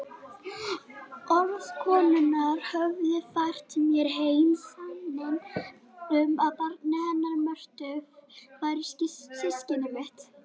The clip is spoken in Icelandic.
Orð konunnar höfðu fært mér heim sanninn um að barnið hennar Mörtu væri systkini mitt.